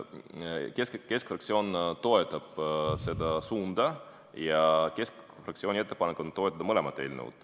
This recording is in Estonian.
Keskfraktsioon toetab seda suunda ja keskfraktsiooni ettepanek on toetada mõlemat eelnõu.